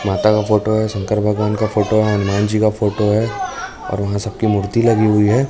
माता का फोटो है शंकर भगवान का फोटो है हनुमान जी का फोटो है और वहां सब की मूर्ति लगी हुई है।